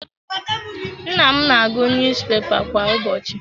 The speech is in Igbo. Nna m na-agụ niyuzupepa kwa ụbọchị.